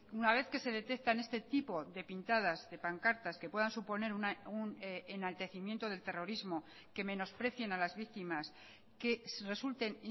una vez que se detectan este tipo de pintadas de pancartas que puedan suponer un enaltecimiento del terrorismo que menosprecien a las víctimas que resulten